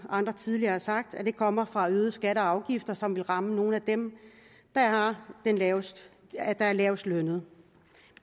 andre tidligere har sagt mener at den kommer fra øgede skatter og afgifter som vil ramme nogle af dem der er lavestlønnede er lavestlønnede